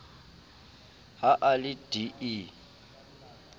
ha a le d e